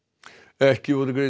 ekki voru greidd